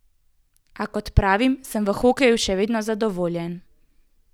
A kot pravim, sem v hokeju še vedno zadovoljen.